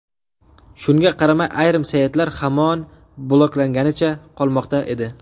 Shunga qaramay ayrim saytlar hamon bloklanganicha qolmoqda edi.